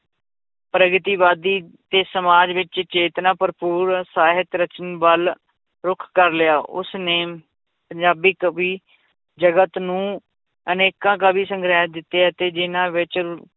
ਪ੍ਰਗਤੀਵਾਦੀ ਤੇ ਸਮਾਜ ਵਿੱਚ ਚੇਤਨਾ ਭਰਪੂਰ ਸਾਹਿਤ ਰਚਨ ਵੱਲ ਰੁੱਖ ਕਰ ਲਿਆ ਉਸਨੇ ਪੰਜਾਬੀ ਕਵੀ ਜਗਤ ਨੂੰ ਅਨੇਕਾਂ ਕਾਵਿ ਸੰਗ੍ਰਹਿ ਦਿੱਤੇ ਅਤੇ ਜਿੰਨਾਂ ਵਿੱਚ